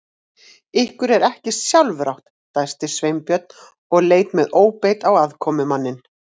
Ykkur er ekki sjálfrátt- dæsti Sveinbjörn og leit með óbeit á aðkomumanninn.